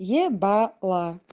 ебала